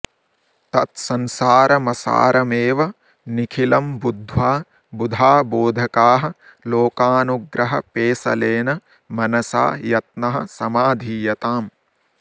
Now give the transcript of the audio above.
तत्संसारमसारमेव निखिलं बुद्ध्वा बुधा बोधकाः लोकानुग्रहपेशलेन मनसा यत्नः समाधीयताम्